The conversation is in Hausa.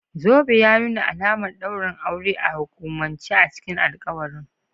Zobe ya nuna alamar daurin aure a hukumance, a cikin alƙawarin.